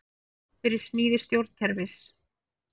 Fyrir smíði stjórnkerfis